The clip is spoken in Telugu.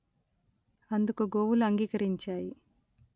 అందుకు గోవులు అంగీకరించాయి